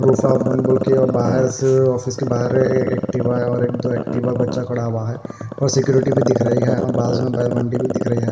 बाहर से ऑफिस के बाहर एक्टिवा और एक दो एक्टिवा बच्चा खड़ा हुआ है और सिक्योरिटी भी दिख रही है बाजू में दिख रही है।